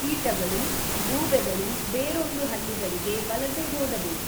ಕೀಟಗಳು, ಗೂಬೆಗಳು ಬೇರೊಂದು ಹಳ್ಳಿಗಳಿಗೆ ವಲಸೆ ಹೋದವು.